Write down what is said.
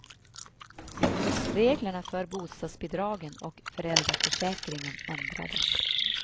Reglerna för bostadsbidragen och föräldraförsäkringen ändrades.